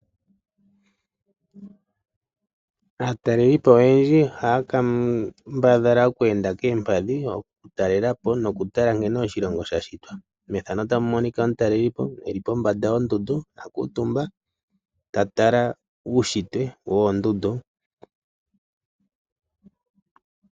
Aataleli po oyendji ohaya ka mbadhala oku enda koompadhi, oku talela po, no ku tala nkene oshilongo sha shitwa. Methano Ota mu monika omutaleli po eli po mbanda yo ndundu,a kuutumba ta tala uushitwe woo ndundu.